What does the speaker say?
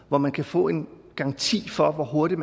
hvor man kan få en garanti for en hurtig